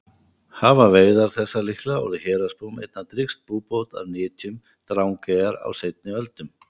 Hafa veiðar þessar líklega orðið héraðsbúum einna drýgst búbót af nytjum Drangeyjar á seinni öldum.